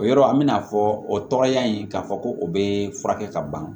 O yɔrɔ an bɛna fɔ o tɔgɔya in k'a fɔ ko o bɛ furakɛ ka ban